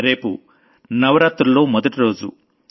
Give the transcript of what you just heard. రేపు నవరాత్రుల్లో మొదటి రోజు